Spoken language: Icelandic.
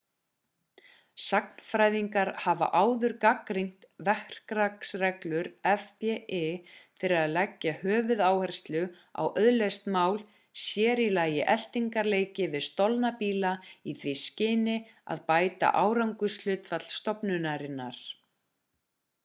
sagnfræðingar hafa áður gagnrýnt verklagsreglur fbi fyrir að leggja höfuðáherslu á auðleyst mál sér í lagi eltingaleiki við stolna bíla í því skyni að bæta árangurshlutfall stofnunarinnar